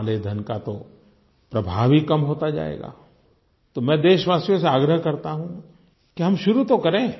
काले धन का तो प्रभाव ही कम होता जाएगा तो मैं देशवासियों से आग्रह करता हूँ कि हम शुरू तो करें